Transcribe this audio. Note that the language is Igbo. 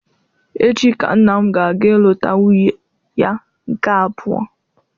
Echi ka nna m ga-aga ilụta nwunye ya nke abụọ